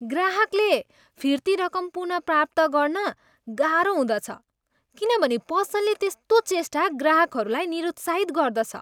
ग्राहकले फिर्ती रकम पुनप्राप्त गर्न गाह्रो हुँदछ किनभने पसलले त्यस्तो चेष्टा ग्राहकहरूलाई निरुत्साहित गर्दछ।